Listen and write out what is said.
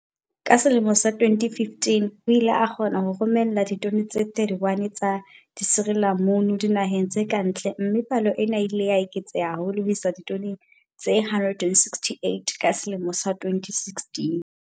Ka selemo sa 2015, o ile a kgona ho romela ditone tse 31 tsa disirilamunu dinaheng tse kantle mme palo ena e ile ya eketseha haholo ho isa ditoneng tse 168 ka selemo sa 2016.